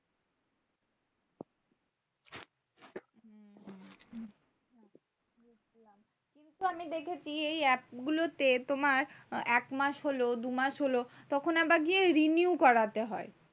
কিন্তু আমি দেখেছি এই app গুলো তে তোমার এক মাস হলো দু মাস হলো তখন আবার গিয়ে renew করাতে হয়।